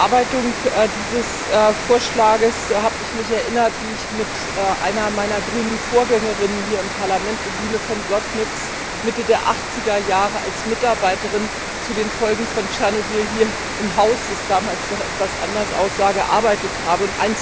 Bei der Bearbeitung dieses Vorschlages habe ich mich erinnert, wie ich mit einer meiner grünen Vorgängerinnen hier im Parlament, Undine von Blottnitz, Mitte der Achtzigerjahre als Mitarbeiterin zu den Folgen von Tschernobyl hier im Haus das damals noch etwas anders aussah gearbeitet habe.